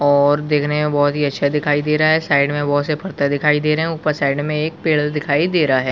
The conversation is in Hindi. और देखने में बहुत अच्छे दिखाई दे रहे है साइड बहुत से पत्ते दिखाई दे रहे है ऊपर साइड में एक पेड़ दिखाई दे रहा हैं ।